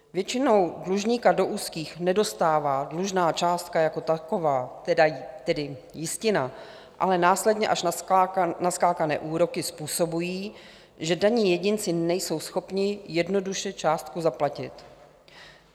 Většinou dlužníka do úzkých nedostává dlužná částka jako taková, tedy jistina, ale následně až naskákané úroky způsobují, že daní jedinci nejsou schopni jednoduše částku zaplatit.